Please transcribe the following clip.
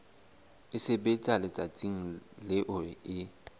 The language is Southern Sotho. e sebetswa letsatsing leo e